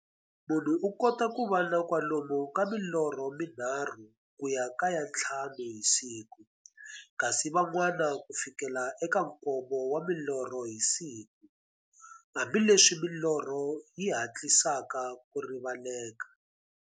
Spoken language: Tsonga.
Munhu u kota ku va na kwalomu ka milorho mi nharhu ku ya ka ya nthlanu hi siku, kasi van'wana ku fikela eka nkombo wa milorho hi siku, hambileswi milorho yi hatlisaka ku rivaleka.